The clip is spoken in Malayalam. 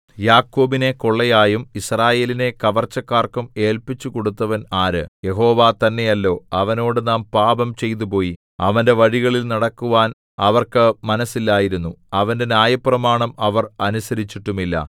യാക്കോബിനെ കൊള്ളയായും യിസ്രായേലിനെ കവർച്ചക്കാർക്കും ഏല്പിച്ചുകൊടുത്തവൻ ആര് യഹോവ തന്നെയല്ലോ അവനോട് നാം പാപം ചെയ്തുപോയി അവന്റെ വഴികളിൽ നടക്കുവാൻ അവർക്ക് മനസ്സില്ലായിരുന്നു അവന്റെ ന്യായപ്രമാണം അവർ അനുസരിച്ചിട്ടുമില്ല